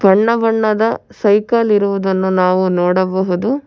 ಬಣ್ಣಬಣ್ಣದ ಸೈಕಲ್ ಇರುವುದನ್ನು ನಾವು ನೋಡಬಹುದು.